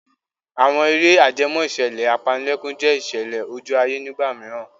Àwọn eré ajẹmọ́ ìṣẹ̀lẹ̀ apanilẹ́kún jẹ́ ìṣẹ̀lẹ̀ ojú ayé nígbà mìíràn.